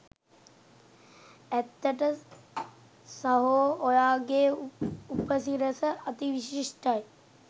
ඇත්තට සහෝ ඔයාගේ උපසිරස අති විශිෂ්ඨයි.